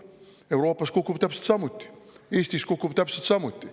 Euroopas kukub täpselt samuti, Eestis kukub täpselt samuti.